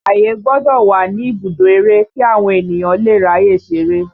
Ààyè gbọ́dọ̀ wà ní ibùdó eré kí àwọn ènìyàn lè ráyè ṣeré